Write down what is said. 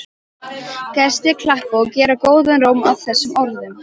Gestir klappa og gera góðan róm að þessum orðum.